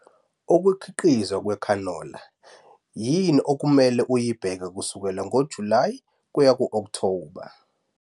UKUKHIQIZWA KWEKHANOLA Yini okufanele uyibheke kusukela ngoJulayi kuye ku-Okthoba